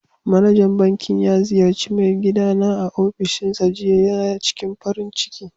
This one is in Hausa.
Manajan bankin ya ziyarci mai gida na a ofishinsa jiya. ya ciking farin ciki.